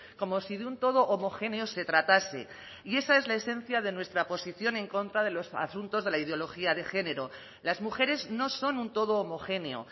como si de un todo homogéneo se tratase y esa es la esencia de nuestra posición en contra de los asuntos de la ideología de género las mujeres no son un todo homogéneo